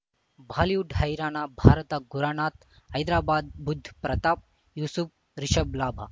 Bollywood ಹೈರಾಣ ಭಾರತ ಗುರನಾಥ ಹೈದರಾಬಾದ್ ಬುಧ್ ಪ್ರತಾಪ್ ಯೂಸುಫ್ ರಿಷಬ್ ಲಾಭ